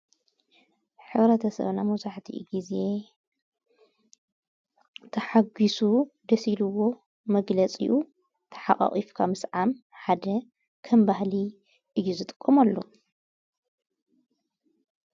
ኅረተሰብና መዙሕቲ ጊዜ ተሓጊሱ ደሲልዎ መግለጺኡ ተሓቓቒፍካ ምስ ዓም ሓደ ከንባህሊ ኢዩ ዘ ጥቆምኣሉ።